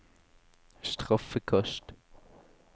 straffekast